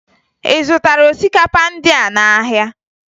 Ị zụtara osikapa ndịa n'ahịa?